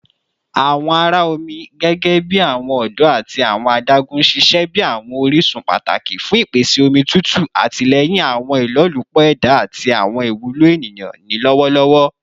Awọn ara omi gẹgẹbi awọn odo ati awọn adagun n ṣiṣẹ bi awọn orisun pataki fun ipese omi tutu, atilẹyin awọn ilolupo eda ati awọn iwulo eniyan ni lọwọlọwọ